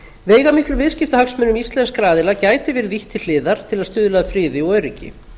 veigamiklum viðskiptahagsmunum íslenskra aðila gæti verið ýtt til hliðar til að stuðla að friði og öryggi